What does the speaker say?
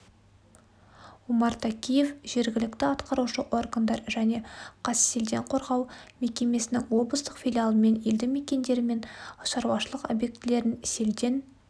омар такеев жергілікті атқарушы органдар және қазселденқорғау мекемесінің облыстық филиалымен елді мекендері мен шаруашылық объектілерін селден